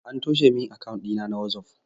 An toshe min akawun ɗina na wazof